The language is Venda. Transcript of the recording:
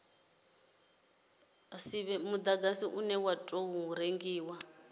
mudagasi une wa tou rengiwa